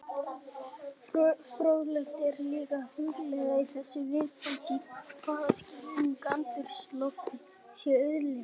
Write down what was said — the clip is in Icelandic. Fróðlegt er líka að hugleiða í þessu viðfangi í hvaða skilningi andrúmsloftið sé auðlind.